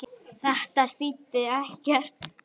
Þetta þýddi ekkert.